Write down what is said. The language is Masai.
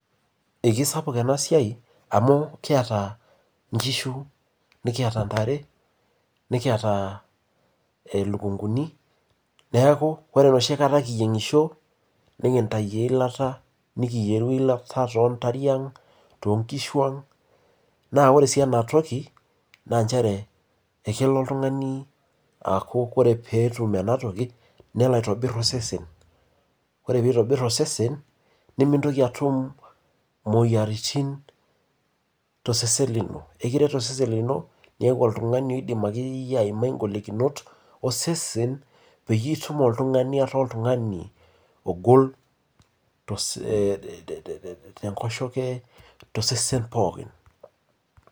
Ikisapuk ena siai amu kiata nkishu, nikiata ntare, nikiata lukunkuni. Neeku ore enoshi kata keyieng'isho nekintai iila, nekiyieru eilata toontariang', toonkishwang'. Naa ore sii enatoki naa nchere ekelo oltung'ani aaku ore pee etum ena toki nelo aitobirr osesen. Ore piitobirr osesen nimintoki atum mwoyiaritin tosesen lino. Ikiret osesen lino niaku oltung'ani oidaimai akeyie aimai ingolikinot osesen peyie itum oltung'ani ataa oltung'ani ogol tenkoshoke, tosesen pooki